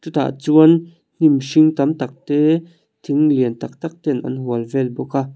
chutah chuan hnim hring tam tak te thing lian tâk tâk ten an hual vel bawk a.